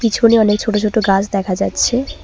পিছনে অনেক ছোট ছোট গাছ দেখা যাচ্ছে।